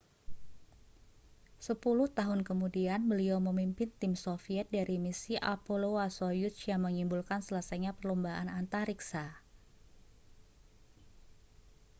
sepuluh tahun kemudian beliau memimpin tim soviet dari misi apolloâ€ soyuz yang menyimbolkan selesainya perlombaan antariksa